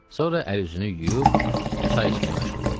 Sonra əl-üzünü yuyub çay içməyə məşğul oldu.